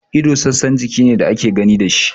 Ido sassan jiki ne da ake gani da shi.